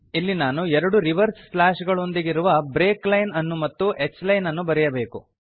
ಇಲ್ಲಿ ನಾನು ಎರಡು ರಿವರ್ಸ್ ಸ್ಲ್ಯಾಷ್ ಗಳೊಂದಿಗಿರುವ ಬ್ರೇಕ್ ಲೈನ್ ಅನ್ನು ಮತ್ತು h ಲೈನ್ ಅನ್ನು ಬರೆಯಬೇಕು